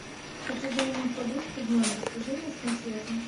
хочу заменить подушку в номер свяжи меня с консьержем